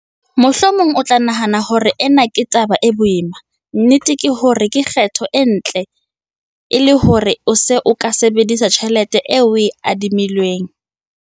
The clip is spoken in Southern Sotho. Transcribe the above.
Mohomong o tla nahana hore ena ke taba e boima. Nnete ke hore ke kgetho e ntle ke hore o se ke wa sebedisa tjhelete eo o e adimilweng.